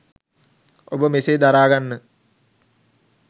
ඔබ මෙසේ දරාගන්න